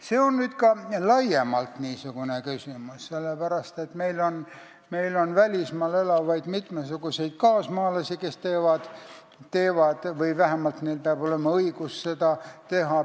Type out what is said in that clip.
See on ka laiem küsimus, sellepärast et meil on mitmesuguseid välismaal elavaid kaasmaalasi, kes nii teevad või kellel vähemalt peab olema õigus seda teha.